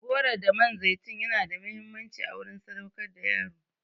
Goro da man zaitun yana da muhimmanci a wurin sadaukar da yaro.